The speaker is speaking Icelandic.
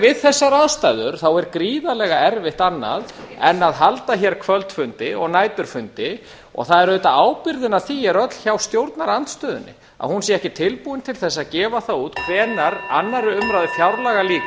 við þessar aðstæður er gríðarlega erfitt annað en að halda hér kvöldfundi og næturfundi og ábyrgðin á því er öll hjá stjórnarandstöðunni að hún sé ekki tilbúin til þess að gefa það út hvenær annarrar umræðu fjárlaga lýkur